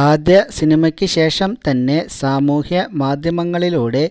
അദ്യ സിനിമക്ക് ശേഷംതന്നെ സാമൂഹ്യമാധ്യമങ്ങളിലൂടെ